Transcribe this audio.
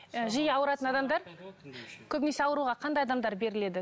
ы жиі ауыратын адамдар көбінесе ауруға қандай адамдар беріледі